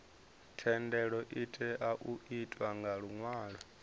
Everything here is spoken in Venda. thendelo itea u itwa nga luṅwalo